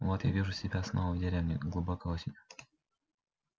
вот я вижу себя снова в деревне глубокой осенью